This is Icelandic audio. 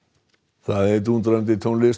það er dúndrandi tónlist og